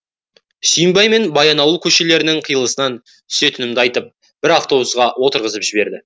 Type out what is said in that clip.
сүйінбай мен баянауыл көшелерінің қиылысынан түсетінімді айтып бір автобусқа отырғызып жіберді